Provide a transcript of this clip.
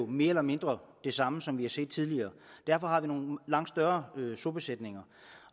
mere eller mindre det samme som vi har set tidligere derfor har vi nogle langt større sobesætninger